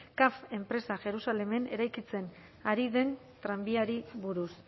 caf enpresa jerusalemen eraikitzen ari den tranbiari buruz